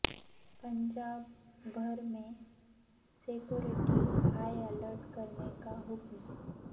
پنجاب بھر میں security high alert کرنے کا حکم